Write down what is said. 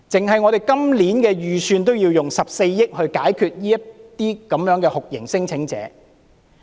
單是今年的預算，已經需要14億元來處理這些酷刑聲請者。